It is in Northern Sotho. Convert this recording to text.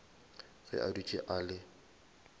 ge a dutše a le